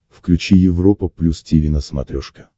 включи европа плюс тиви на смотрешке